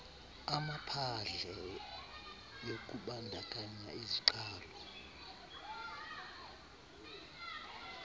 amaphadle yokubandakanya iziqalo